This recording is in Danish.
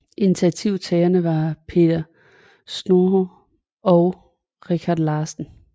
Initiativtagerne var Peter Schnohr og Richard Larsen